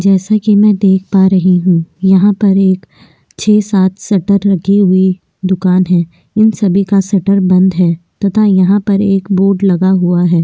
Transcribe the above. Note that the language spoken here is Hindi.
जैसा की मैं देख पा रही हूँ यहाँ पर एक छह सात शटर लगी हुई दूकान है इन सभी का शटर बंद है तथा यहाँ पर एक बोर्ड लगा हुआ है।